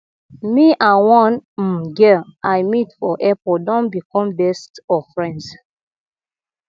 me and one um girl i meet for airport don become best of friends